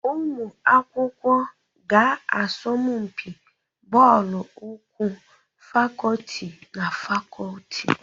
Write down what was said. Ụmụ akwụkwọ ga-asọmpi bọọlụ ụkwụ fakọlti na fakọlti.